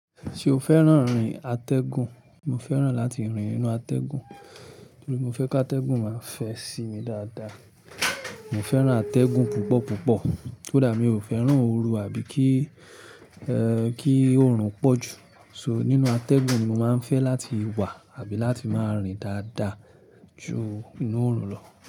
Ṣé o fẹ́ràn rìn atẹ́gùn? Mo fẹ́ràn láti rìn ninú atẹ́gùn torí mo fẹ́ ki atẹ́gùn máa fẹ sí mi dáadáa. Mo fẹ́ràn atẹ́gùn púpọ̀ púpọ̀. Kódà mi ò fẹ́ràn oru àbí kí, ẹ́, kí oorun pọ̀ jù. So, nínú atẹ́gùn ni mo máa ń fẹ́ láti wà àbí láti máa rìn dáadáa ju inú òrùn lọ.